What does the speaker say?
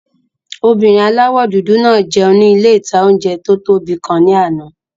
Obìnrin aláwọ̀ dúdú náà jẹun ní ilé-ìtanjẹ tó tóbi kan ní àná